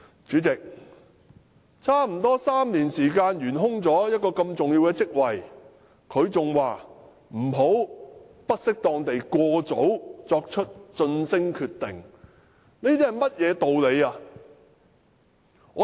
主席，如此重要的職位懸空了差不多3年，他仍說不要"不適當地過早作出晉升決定"，這是甚麼道理來的？